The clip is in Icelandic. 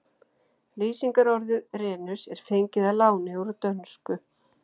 Lýsingarorðið renus er fengið að láni úr dönsku.